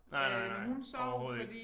Nej nej nej overhovedet ikke